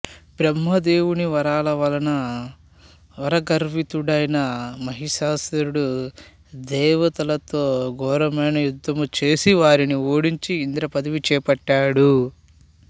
బ్రహ్మదేవుని వరాల వలన వరగర్వితుడైన మహిషాసురుడు దేవతల్తో ఘోరమైన యుద్ధము చేసి వారిని ఓడించి ఇంద్రపదవి చేపట్టాడు